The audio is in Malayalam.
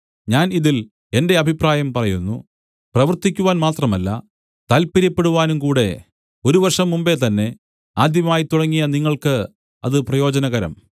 ഞാൻ ഇതിൽ എന്റെ അഭിപ്രായം പറയുന്നു പ്രവർത്തിക്കുവാൻ മാത്രമല്ല താൽപ്പര്യപ്പെടുവാനും കൂടെ ഒരു വർഷം മുമ്പെ തന്നെ ആദ്യമായി തുടങ്ങിയ നിങ്ങൾക്ക് അത് പ്രയോജനകരം